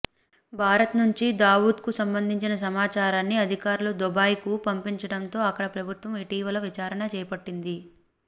భారత్ నుంచి దావూద్కు సంబంధించిన సమాచారాన్ని అధికారులు దుబాయ్కు పంపించడంతో అక్కడ ప్రభుత్వం ఇటీవల విచారణ చేపట్టింది